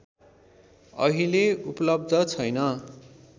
अहिले उपलब्ध छैन